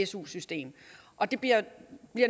su system og det bliver